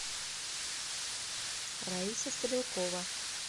раиса стрелкова